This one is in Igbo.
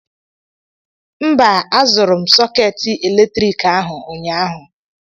mba, azụrụ m sọkeetị eletriki ahụ ụnyaahụ